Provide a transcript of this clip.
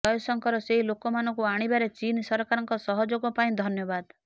ଜୟଶଙ୍କର ସେହି ଲୋକମାନଙ୍କୁ ଆଣିବାରେ ଚୀନ ସରକାରଙ୍କ ସହଯୋଗ ପାଇଁ ଧନ୍ୟବାଦ